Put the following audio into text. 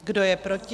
Kdo je proti?